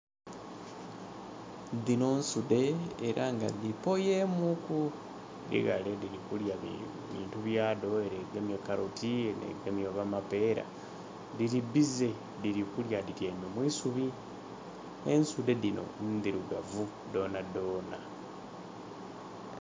Dhino nsudhe era nga dhipooye mu ku, dhili ghale dhili kulya bintu byedho ere egemye kaloti, ere egemye oba mapera. Dhili biize dhili kulya dhityaime mwisubi, ensudhe dhino ndhirugavu dhona dhona.